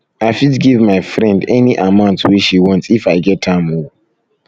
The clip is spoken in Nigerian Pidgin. i fit give my friend any friend any amount wey she want if i get am o